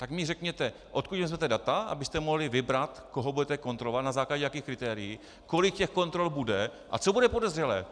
Tak mi řekněte, odkud vezmete data, abyste mohli vybrat, koho budete kontrolovat, na základě jakých kritérií, kolik těch kontrol bude a co bude podezřelé.